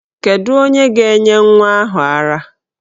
Kedu onye ga-enye nwa ahụ ara?